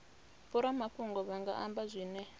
vhoramafhungo vha nga amba zwine